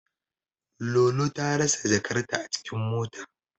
Lolo ta rasa jakarta a cikin mota.